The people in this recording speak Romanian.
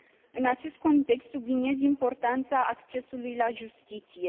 În acest context, subliniez importanța accesului la justiție.